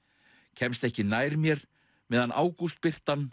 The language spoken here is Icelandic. kemst ekki nær mér meðan